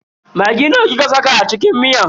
Maggi nawa kika saka a cikin miyan?